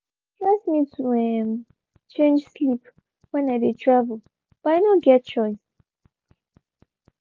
e dey stress me to um change sleep when i dey travel but i no get choice.